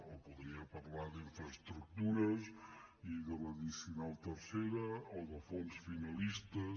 o podria parlar d’infraestructures i de l’addicional tercera o de fons finalistes